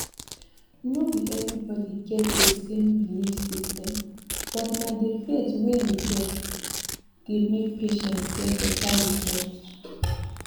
no be everybody get dey same belief system but na dey faith wey you get dey make patients get better result